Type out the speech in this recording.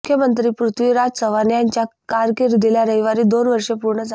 मुख्यमंत्री पृथ्वीराज चव्हाण यांच्या कारकीर्दीला रविवारी दोन वर्षे पूर्ण झाले